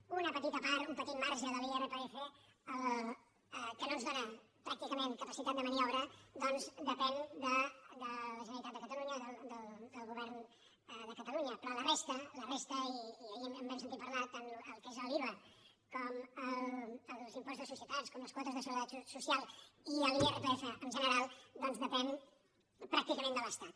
una petita part un petit marge de l’irpf que no ens dóna pràcticament capacitat de maniobra ja que depèn de la generalitat de catalunya del govern de catalunya però la resta la resta i ahir en vam sentir a parlar tant el que és l’iva com els impostos de societats com les quotes de seguretat social i l’irpf en general depèn pràcticament de l’estat